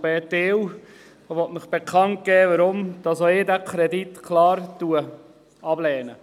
Ich möchte Ihnen bekannt geben, warum auch ich diesen Kredit klar ablehne.